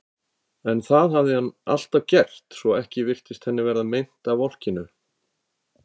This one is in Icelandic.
En það hafði hann alltaf gert, svo ekki virtist henni verða meint af volkinu.